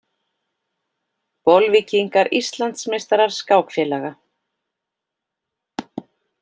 Bolvíkingar Íslandsmeistarar skákfélaga